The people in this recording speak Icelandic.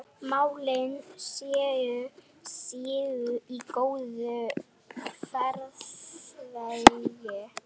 Kannski er í rauninni meira undrunarefni að kosningaréttur skyldi þróast til þess að verða almennur.